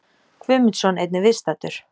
Guðmundsson, einnig viðstaddur.